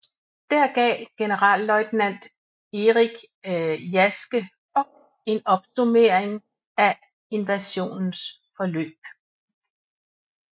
Dér gav generalløjtnant Erich Jaschke Bock en opsummering af invasionens forløb